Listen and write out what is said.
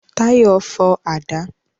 Táyọ̀ fọ àdá